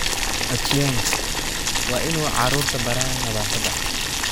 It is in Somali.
Achieng waa in uu carruurta baraa nadaafadda